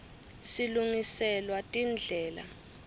silungiselwa tindlela